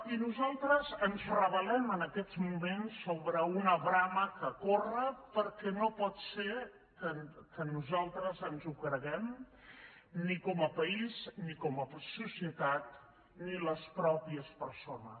i nosaltres ens rebel·lem en aquests moments contra una brama que corre perquè no pot ser que nosaltres ens ho creguem ni com a país ni com a societat ni les mateixes persones